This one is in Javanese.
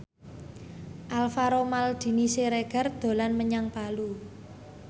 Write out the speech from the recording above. Alvaro Maldini Siregar dolan menyang Palu